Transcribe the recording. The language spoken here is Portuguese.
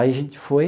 Aí a gente foi,